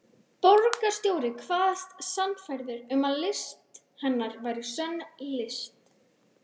Borgarstjóri kvaðst sannfærður um að list hennar væri sönn list.